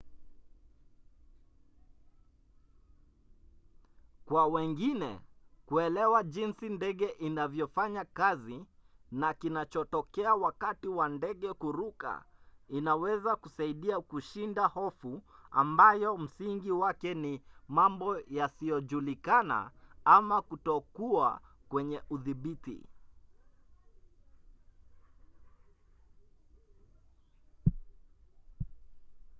kwa wengine kuelewa jinsi ndege inavyofanya kazi na kinachotokea wakati wa ndege kuruka inaweza kusaidia kushinda hofu ambayo msingi wake ni mambo yasiyojulikana ama kutokuwa kwenye udhibiti